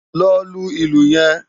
Lò lú ilú yèn